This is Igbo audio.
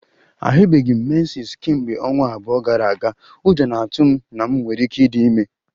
Ahụbeghị m menses m kemgbe ọnwa abụọ gara aga, ụjọ na-atụ m na m nwere ike ịdị ime